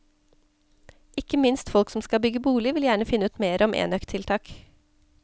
Ikke minst folk som skal bygge bolig, vil gjerne finne ut mer om enøktiltak.